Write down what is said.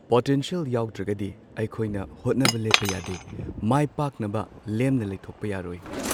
Potential ꯌꯥꯎꯗ꯭ꯔꯒꯗꯤ ꯑꯩꯈꯣꯏꯅ ꯍꯣꯠꯅꯕ ꯂꯦꯞꯄ ꯌꯥꯗꯦ ꯃꯥꯏ ꯄꯥꯛꯅꯕ ꯂꯦꯝꯅ ꯂꯩꯊꯣꯛꯄ ꯌꯥꯔꯣꯏ꯫